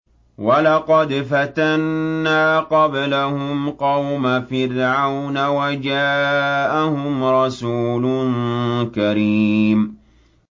۞ وَلَقَدْ فَتَنَّا قَبْلَهُمْ قَوْمَ فِرْعَوْنَ وَجَاءَهُمْ رَسُولٌ كَرِيمٌ